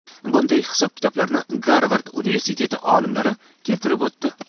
Bunday hisob-kitoblarni Garvard universiteti olimlari keltirib o‘tdi.